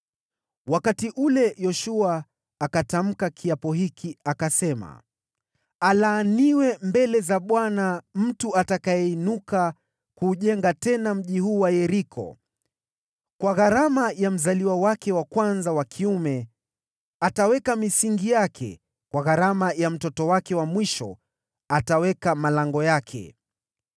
Wakati ule Yoshua akatamka kiapo hiki akasema, “Aliyelaaniwa mbele za Bwana ni mtu atakayeinuka kuujenga tena mji huu wa Yeriko: “Kwa gharama ya mzaliwa wake wa kwanza wa kiume ataiweka misingi yake; kwa gharama ya mtoto wake wa mwisho atayaweka malango yake.”